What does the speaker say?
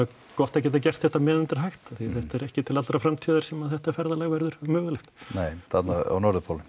gott að geta gert þetta á meðan það er hægt því þetta er ekki til allrar framtíðar sem þetta ferðalag verður mögulegt þarna á norðurpólnum